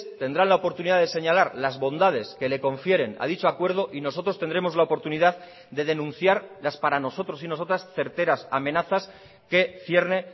tendrán la oportunidad de señalar las bondades que le confieren a dicho acuerdo y nosotros tendremos la oportunidad de denunciar las para nosotros y nosotras certeras amenazas que cierne